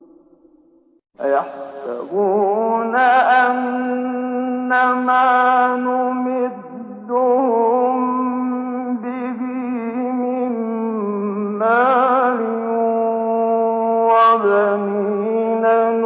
أَيَحْسَبُونَ أَنَّمَا نُمِدُّهُم بِهِ مِن مَّالٍ وَبَنِينَ